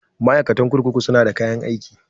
Ma'aikatan kurkuku su na da kayan aiki